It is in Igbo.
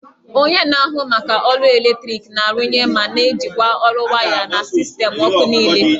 Onye na-ahụ maka ọkụ eletrik na-arụnye ma na-ejikwa ọrụ waya na sistemụ ọkụ niile